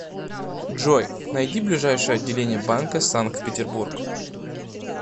джой найди ближайшее отделение банка санкт петербург